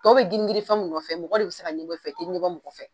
Tɔw bɛ girin girin fɛn min nɔfɛ, mɔgɔ de bɛ se ka ɲɛbɔ anw fɛ , anw tɛ kɔnɔ mɔgɔ fɛ